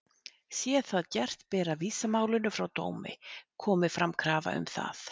Sé það gert ber að vísa málinu frá dómi, komi fram krafa um það.